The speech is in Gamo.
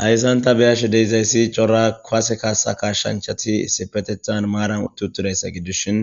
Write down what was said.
Haysan ta beyashe de'izayssi cora kuwaase kashshanchati sipetethan maaran tutudayssa giddushin